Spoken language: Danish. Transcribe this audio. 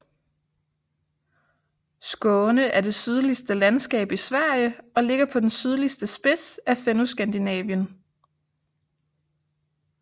Skåne er det sydligste landskab i Sverige og ligger på den sydligste spids af Fennoskandinavien